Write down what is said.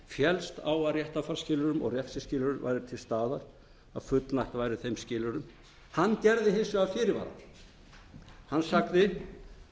féllst á að réttarfarsskilyrðum og refsiskilyrðum væru til staðar að fullnægt væri þeim skilyrðum hann gerði hins vegar fyrirvara hann sagði